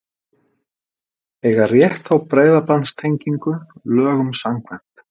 Eiga rétt á breiðbandstengingu lögum samkvæmt